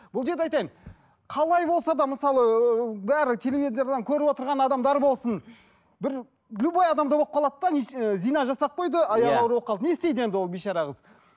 бұл жерде айтайын қалай болса да мысалы ыыы бәрі теледидардан көріп отырған адамдар болсын бір любой адамда болып қалады да ііі зина жасап қойды иә аяғы ауыр болып қалды не істейді енді ол бейшара қыз